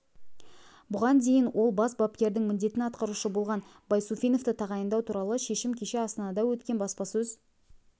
бұған дейін ол бас бапкердің міндетін атқарушы болған байсуфиновті тағайындау туралы шешім кеше астанада өткен баспасөз